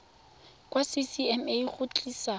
kwa go ccma go tlisa